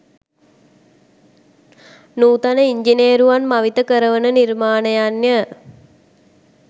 නූතන ඉංජිනේරුවන් මවිත කරවන නිර්මාණයන්ය